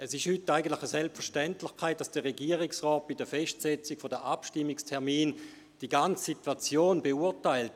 Eigentlich ist es heute eine Selbstverständlichkeit, dass der Regierungsrat bei der Festsetzung der Abstimmungstermine die ganze Situation beurteilt;